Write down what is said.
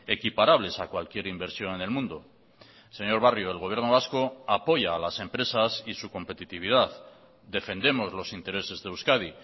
equiparables a cualquier inversión en el mundo señor barrio el gobierno vasco apoya a las empresas y su competitividad defendemos los intereses de euskadi